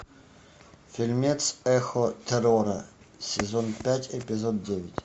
фильмец эхо террора сезон пять эпизод девять